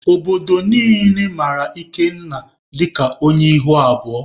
Obodo niile mara Ikenna dịka onye ihu abụọ.